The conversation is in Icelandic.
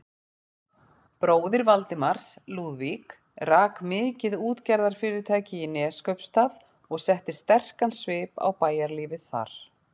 Bróðir Valdimars, Lúðvík, rak mikið útgerðarfyrirtæki í Neskaupsstað og setti sterkan svip á bæjarlífið þar.